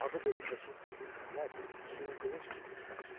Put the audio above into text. Abı belindəki iri pərlər suyu qılınc kimi kəsir.